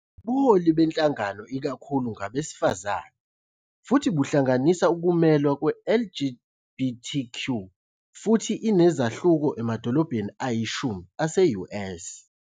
Ubuholi benhlangano ikakhulu ngabesifazane, futhi buhlanganisa ukumelwa kwe- LGBTQ futhi inezahluko emadolobheni ayishumi ase-US.